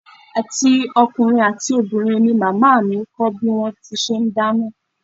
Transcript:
Àti ọkùnrin àti obìnrin ni màmá mi kọ́ bí wón ti ń ṣe dáná.